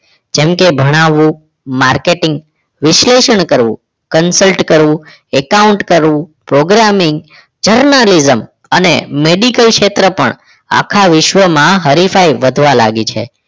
જેમ કે ભણાવવું marketing વિશ્લેષણ કરવું consult કરવું account કરવું programming journalism અને medical ક્ષેત્ર પણ આખા વિશ્વમાં હરિભાઈ વધવા લાગી છે